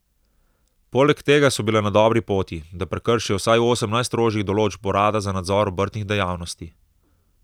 Poleg tega so bile na dobri poti, da prekršijo vsaj osem najstrožjih določb urada za nadzor obrtnih dejavnosti.